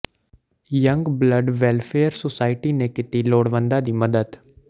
young blood welfare society ਨੇ ਕੀਤੀ ਲੋੜਵੰਦਾਂ ਦੀ ਮਦਦ